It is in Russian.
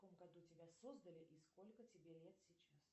в каком году тебя создали и сколько тебе лет сейчас